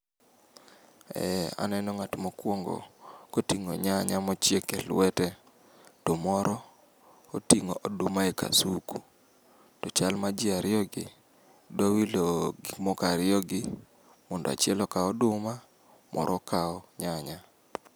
Eh, aneno ng'at mokwongo koting'o nyanya e lwete. To moro, oting'o oduma e kasuku, to chal ma ji ariyogi dwa wilo gikmoko ariyogi mondo achiel okaw oduma, moro okaw nyanya.